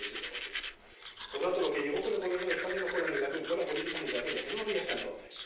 137 Por tanto, lo que llegó con el Gobierno de España no fue la migración, fue la política migratoria, que no existía hasta entonces